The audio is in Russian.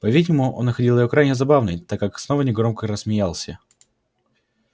по-видимому он находил её крайне забавной так как снова негромко рассмеялся